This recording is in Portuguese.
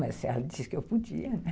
Mas ela disse que eu podia, né?